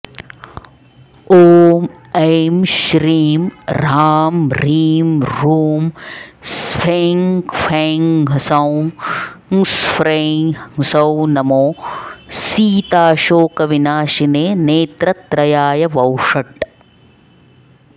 ॐ ऐं श्रीं ह्रांह्रींह्रूं स्फें ख्फें ह्सौं ह्स्ख्फ्रें ह्सौं नमो सीताशोकविनाशिने नेत्रत्रयाय वौषट्